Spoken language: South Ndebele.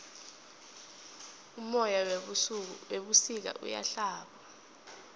umoya webusika uyahlaba